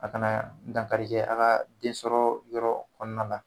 A kana dankari kɛ a ka densɔrɔ yɔrɔ kɔnɔna na.